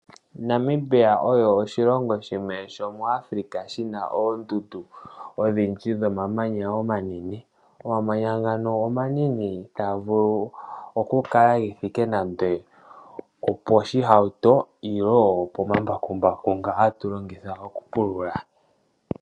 Namibia osho oshilongo shimwe shomuAfrica shi na oondundu odhindji dhomamanya omanene. Omamanya ngano omanene taga vulu okukala ge thike nando oposhihauto nenge pomambakumbaku nga hatu longitha okupulula.